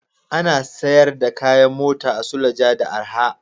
Ana siyar da kayan mota a Suleja da arha